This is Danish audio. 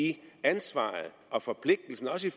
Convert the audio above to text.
ansvaret og forpligtelsen også i